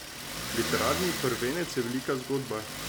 Literarni prvenec je velika zgodba.